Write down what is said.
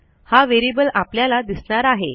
हा व्हेरिएबल आपल्याला दिसणार आहे